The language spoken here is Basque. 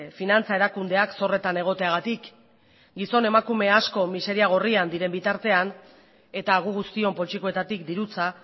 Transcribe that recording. finantza erakundeak zorretan egoteagatik gizon emakume asko miseria gorrian diren bitartean eta gu guztion poltsikoetatik dirutza